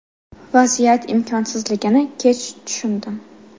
Vaziyat imkonsizligini kech tushundim”.